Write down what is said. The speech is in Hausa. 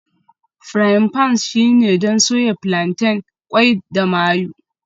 Frying pans shine don soya plantain, qwai da mayu